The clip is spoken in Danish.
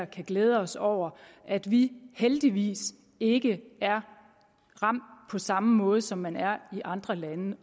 kan glæde os over at vi heldigvis ikke er ramt på samme måde som man er i andre lande